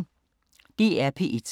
DR P1